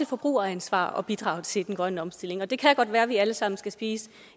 forbrugeransvar at bidrage til den grønne omstilling og det kan godt være at vi alle sammen skal spise